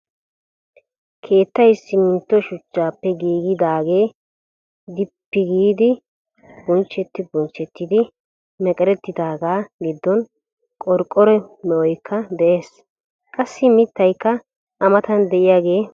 Keettay simmintto shuchchaappe giigidaagee dippi diis giidi bunchcheti bunchchettidi meqerettidaaga giddon qorqqoro me'oykka de'ees, qassi mittaykka a mattan de'iyagee beettees.